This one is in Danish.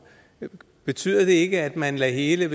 betyder det ikke at man lægger hele